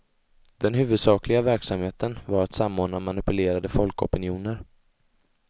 Den huvudsakliga verksamheten var att samordna manipulerade folkopinioner.